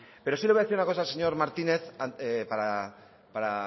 pero sí le voy a decir una cosa al señor martínez para